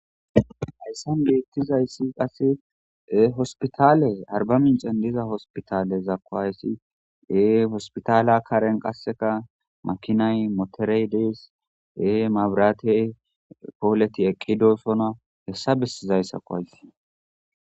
Haysan betizayssi qase hopitalle arba minccen deyzza hospitalekko hayssi hospitala karen qassi makinay motorey dees mabirate ampoleti eqqi dosonna hessa besizayssako haysi